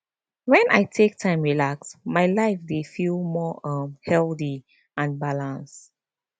when i take time relax my life dey feel more um healthy and balanced